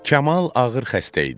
Kamal ağır xəstə idi.